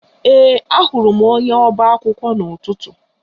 Ee, ahụrụ m onye ọba akwụkwọ n'ụtụtụ a